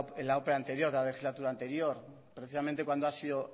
la ope anterior de la legislatura anterior precisamente cuando ha sido